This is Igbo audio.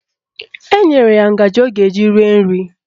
Enyere ya ngaji ọ ga-eji rie nri